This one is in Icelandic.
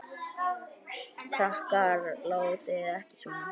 Krakkar látiði ekki svona!